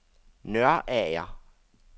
Nørager